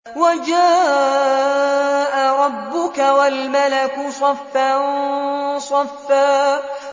وَجَاءَ رَبُّكَ وَالْمَلَكُ صَفًّا صَفًّا